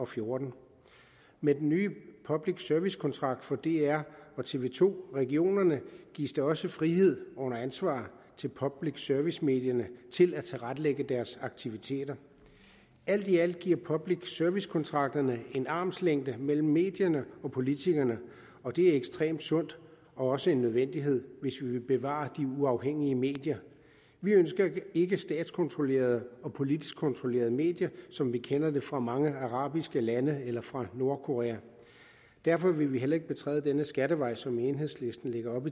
fjorten med den nye public service kontrakt for dr og tv to regionerne gives der også frihed under ansvar til public service medierne til at tilrettelægge deres aktiviteter alt i alt giver public service kontrakterne en armslængde mellem medierne og politikerne og det er ekstremt sundt og også en nødvendighed hvis vi vil bevare de uafhængige medier vi ønsker ikke statskontrollerede og politisk kontrollerede medier som vi kender det fra mange arabiske lande eller fra nordkorea derfor vil vi heller ikke betræde denne skattevej som enhedslisten lægger op